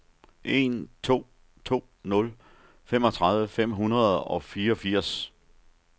en to to nul femogtredive fem hundrede og fireogfirs